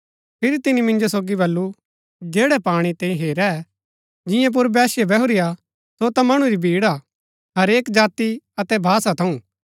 फिरी तिनी मिन्जो सोगी बल्लू जैड़ै पाणी तैंई हेरै जिंआं पुर वेश्या बैहुरी हा सो ता मणु री भीड़ हा हरेक जाति अतै भाषा थऊँ